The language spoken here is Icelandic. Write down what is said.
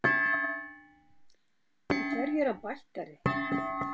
En hverju er hann bættari?